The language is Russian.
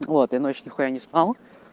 вот и ночь нихуя не спал